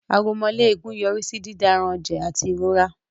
Aromọléegun yọrí sí dídáranẹ̀jẹ̀ àti ìrora